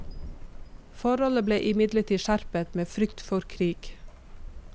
Forholdet ble imidlertid skjerpet, med frykt for krig.